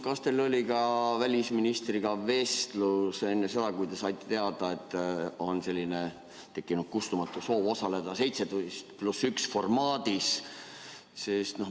Kas teil oli välisministriga vestlus enne seda, kui te saite teada, et on tekkinud kustumatu soov osaleda 17 + 1 formaadis?